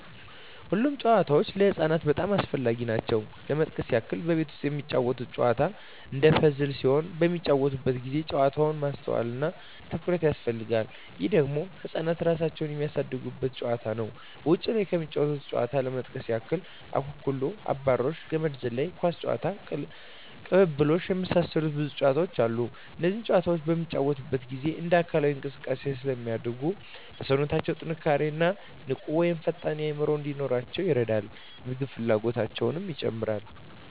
ሁሉም ጨዋታዎች ለህፃናት በጣም አስፈላጊ ናቸው ለመጥቀስ ያክል ቤት ውስጥ የሚጫወቱት ጨዋታ አንዱ ፐዝል ሲሆን በሚጫወቱበት ጊዜ ጨዋታው ማስተዋል እና ትኩረት ይፈልጋል ይህ ደግሞ ህፃናት እራሳቸውን የሚያሳድጉበት ጨዋታ ነው ውጭ ላይ ከሚጫወቱት ጨዋታዎች ለመጥቀስ ያክል አኩኩሉ....፣አብራሪዎች፣ ገመድ ዝላይ፣ ኳስ ጨዋታ፣ ቅልብልቦሽ የመሳሰሉት ብዙ ጨዋታዎች አሉ እነዚህ ጨዋታዎች በሚጫወቱበት ጊዜ እንደ አካላዊ እንቅስቃሴ ስለሚያደርጉ ለሠውነታው ጥንካሬ እና ንቁ ወይም ፈጣን አዕምሮ እንዲኖራቸው ይረዳል የምግብ ፍላጎታቸው ይጨምራል